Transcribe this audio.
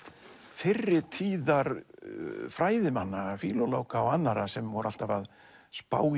fyrri tíðar fræðimanna fílólóga og annarra sem voru alltaf að spá í